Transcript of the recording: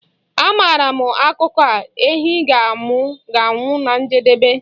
Amaara m akụkọ a, ehi ga-anwụ na njedebe